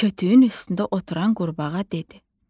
Kötüyün üstündə oturan qurbağa dedi.